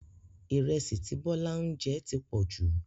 Ìrẹsì tí Bọ́lá ń jẹ ti pọ̀jù